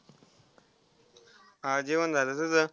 हां जेवण झालं तुझं.